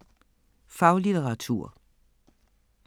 Faglitteratur